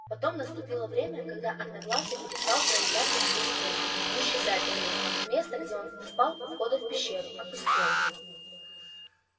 потом наступило время когда одноглазый перестал проявляться сквозь стену и исчезать на ней место где он спал у входа в пещеру опустело